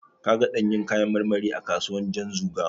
Ka ga ɗanyun kayan marmari a kasuwar Janzuga?